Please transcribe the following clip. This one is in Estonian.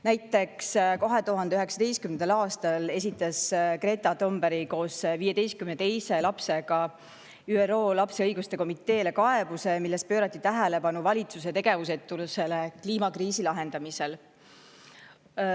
Näiteks 2019. aastal esitas Greta Thunberg koos 15 teise lapsega ÜRO lapse õiguste komiteele kaebuse, milles pöörati tähelepanu valitsuse tegevusetusele kliimakriisi lahendamisel.